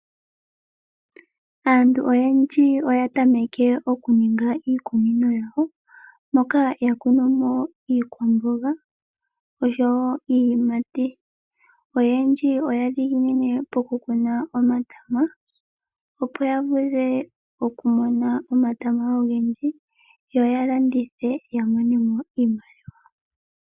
Aantu oyendji oya tameka oku ninga iikunino yawo moka ya kunu mo iikwamboga osho wo iiyimati, oyendji oya li ya dhiginine poku kuna omatama opo ya vule okumona omatama ogendji yo yalandithe.